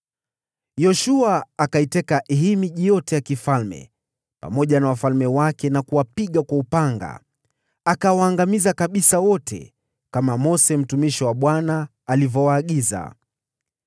Yoshua akaiteka hii miji yote ya kifalme pamoja na wafalme wake na kuwapiga kwa upanga. Akawaangamiza kabisa wote, jinsi Mose mtumishi wa Bwana alivyowaagiza.